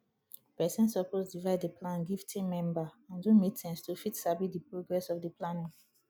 persin suppose divide di plan give team member and do meetings to fit sabi di progress of di planning